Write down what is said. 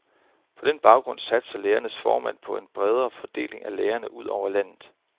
På den baggrund satser lægernes formand på en bedre fordeling af lægerne ud over landet.